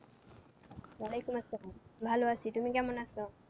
ওয়ালেখুম আসসালাম ভালো আছি, তুমি কেমন আছো?